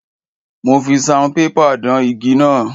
Mo fi saunpépà dán igi náà.